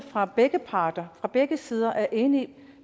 fra begge parter fra begge sider er inde